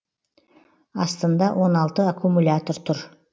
астында он алты аккумулятор тұр